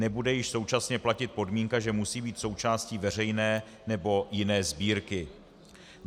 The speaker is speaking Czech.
Nebude již současně platit podmínka, že musí být součástí veřejné nebo jiné sbírky.